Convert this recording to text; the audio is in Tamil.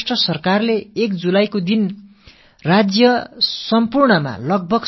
மஹாராஷ்ட்டிர அரசு ஜூலை மாதம் ஒன்றாம் தேதியன்று மாநிலத்தில் சுமார் 2